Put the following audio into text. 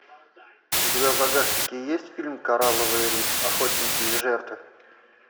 у тебя в загашнике есть фильм коралловый риф охотники и жертвы